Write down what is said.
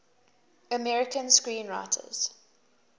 american screenwriters